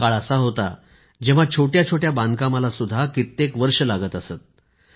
एक काळ असा होता जेव्हा छोट्या छोट्या बांधकामालाही कित्येक वर्षे लागत असत